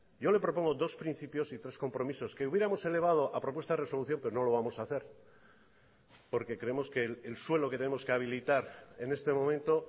yo le propongo dos principios y tres compromisos que hubiéramos elevado a propuesta de resolución pero no lo vamos a hacer porque creemos que el suelo que tenemos que habilitar en este momento